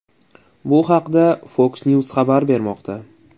Bu haqda FoxNews xabar bermoqda .